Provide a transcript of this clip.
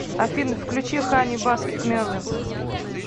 афина включи хани баскет мелвинс